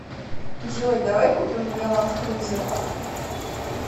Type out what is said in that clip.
джой давай купим мне ланд крузер